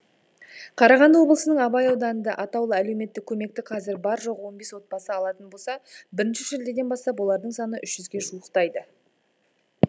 қарағанды облысының абай ауданында атаулы әлеуметтік көмекті қазір бар жоғы он бес отбасы алатын болса бірінші шілдеден бастап олардың саны үш жүзге жуықтайды